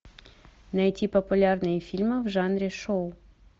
найти популярные фильмы в жанре шоу